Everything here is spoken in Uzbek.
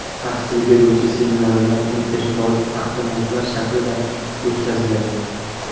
Tahsil beruvchi seminarlar interfaol taqdimotlar shaklida o‘tkaziladi.